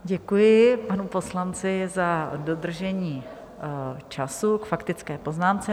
Děkuji panu poslanci za dodržení času k faktické poznámce.